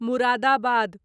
Moradabad